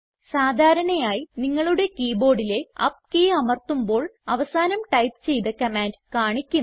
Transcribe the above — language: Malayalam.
സാധാരണയായി നിങ്ങളുടെ കീബോർഡിലെ അപ്പ് കീ അമർത്തുമ്പോൾ അവസാനം ടൈപ്പ് ചെയ്ത കമാൻഡ് കാണിക്കും